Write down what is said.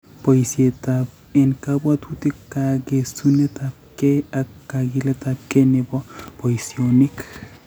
Poisyetap eng' kabwaatutik, kageesunetapkei, ak kagiiletapkei ne po poisyonik